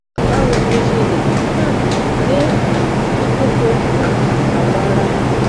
bawo ni o ṣe le um din um fifun po um awo ara ku